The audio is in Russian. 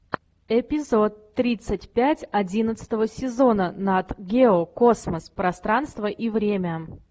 эпизод тридцать пять одиннадцатого сезона нат гео космос пространство и время